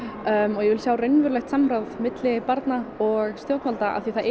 ég vil sjá raunverulegt samráð milli barna og stjórnvalda af því að það er